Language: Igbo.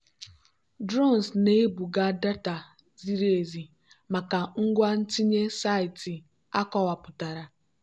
drones na-ebuga data ziri ezi maka ngwa ntinye saịtị akọwapụtara.